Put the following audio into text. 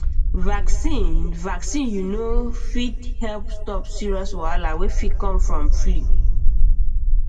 vaccine vaccine you know fit help stop serious wahala wey fit come from flu